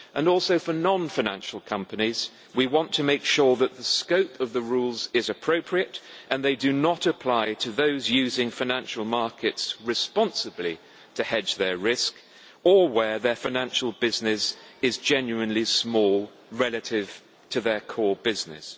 Also, for non financial companies we want to make sure that the scope of the rules is appropriate and that they do not apply to those using financial markets responsibly to hedge their risk or where their financial business is genuinely small, relative to their core business.